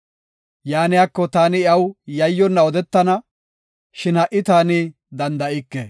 Yaaniko, taani iyaw yayyonna odetana; shin ha77i taani danda7ike.